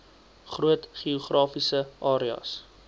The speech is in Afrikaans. groot geografiese areas